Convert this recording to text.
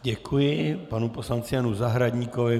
Děkuji panu poslanci Janu Zahradníkovi.